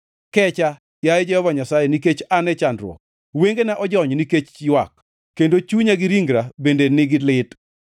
Kecha, yaye Jehova Nyasaye, nikech an e chandruok; wengena ojony nikech ywak, kendo chunya gi ringra bende nigi lit.